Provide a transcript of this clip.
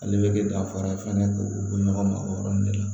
Ale bɛ kɛ danfara ye fɛnɛ k'o ɲɔgɔn ma o yɔrɔnin de la